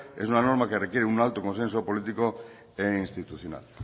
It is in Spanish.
es una norma que requiere y alto consenso político e institucional